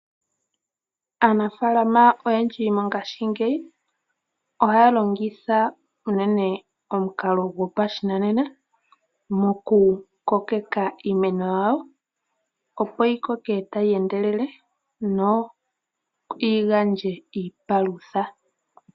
Aanafaalama oyendji mongashingeyi ohaya longitha unene omukalo gopashinanena mokukokeka iimeno yawo, opo yi koke tayi endelele no yi gandje iipalutha.